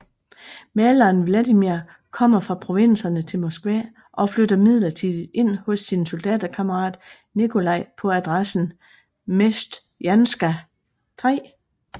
Maleren Vladimir kommer fra provinserne til Moskva og flytter midlertidigt ind hos sin soldaterkammarat Nikolaj på adressen Mesjtjanskaja 3